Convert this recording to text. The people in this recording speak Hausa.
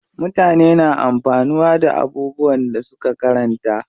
Mutane na amfanuwa da abubuwan da suka karanta.